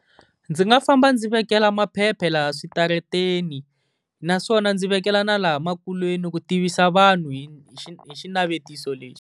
Ndzi nga famba ndzi vekela maphepha laha switarateni, naswona ndzi vekela na laha makuleni ku tivisa vanhu hi hi xinavetiso lexi.